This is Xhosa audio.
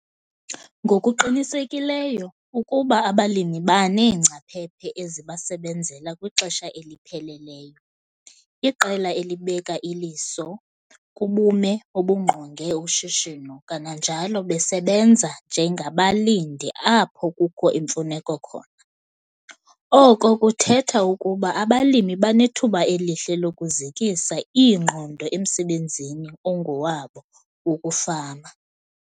Ngokuqinisekileyo ukuba abalimi baneengcaphephe ezibasebenzela kwixesha elipheleleyo, iqela elibek' iliso kubume obungqonge ushishino kananjalo besebenza njengabalindi apho kukho imfuneko khona, oko kuthetha ukuba abalimi banethuba elihle lokuzikisa iingqondo emsebenzini ongowabo wokufama.